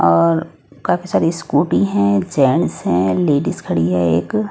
और काफी सारी स्कूटी है जेंट्स लेडिज खड़ी है एक--